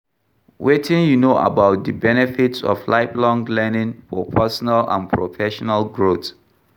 Wetin you know about di benefits of lifelong learning for personal and professional growth?